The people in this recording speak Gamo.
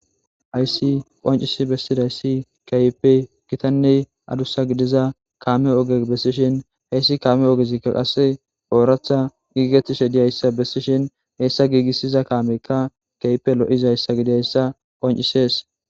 Hayssi qonccisi bessidayssi kehippe giitanne addussa giddiza kaame ogge bessishin hessi kaame oggezika qasse oraththa giggetishe diizayssa bessishin hessa giggisiza kaameykka kehippe loizayssa giddidayssa qonccises.